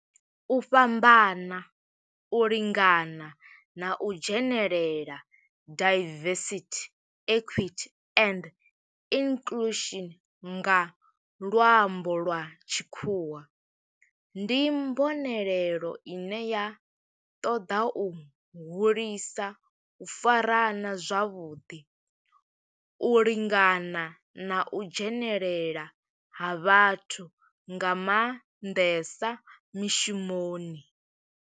U fhambana, u lingana na u dzhenelela diversity, equity and inclusion nga lwambo lwa tshikhuwa ndi mbonelelo ine ya toda u hulisa u farana zwavhuḓi, u lingana na u dzhenelela ha vhathu nga manḓesa mishumoni.